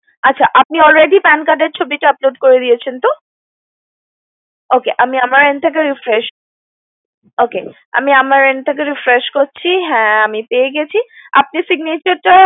আচ্ছা আপনি already PAN card এর ছবিটা upload করে দিয়েছেন তো ওকে আমি আমার end থেকে refresh করছি হ্যা আমি পেয়ে গেছি আপনি signature টা